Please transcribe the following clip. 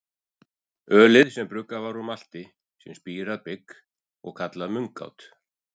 Ölið var bruggað úr malti, sem er spírað bygg, og kallað mungát.